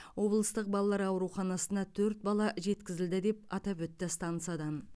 облыстық балалар ауруханасына төрт бала жеткізілді деп атап өтті станциядан